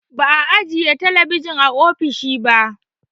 Ba'a ajiye talabijin a ofishin ba